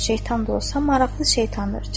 Şeytan da olsa, maraqlı şeytandır.